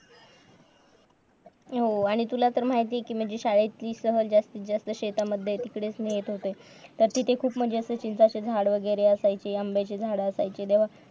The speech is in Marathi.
हम्म आणि तुला तर माहिती आहे कि माझी शाळेची सहल जर जास्तीत जास्त शेतांमधें इकडेच नेत होते तर तिथे खूपम्हणजे असे चिंचेचे झाडं कैऱ्या असायची आंब्याची झाडं असायची तेव्हा